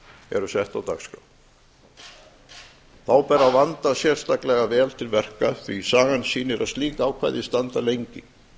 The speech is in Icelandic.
eru sett á dagskrá þá ber að vanda sérstaklega vel til verka því sagan sýnir að slík ákvæði standa lengi